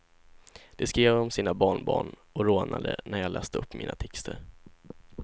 De skrev om sina barnbarn, och rodnade när jag läste upp mina texter.